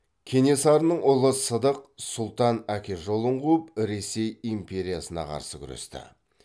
кенесарының ұлы сыдық сұлтан әке жолын қуып ресей империясына қарсы күресті